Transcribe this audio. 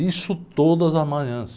Isso todas as manhãs.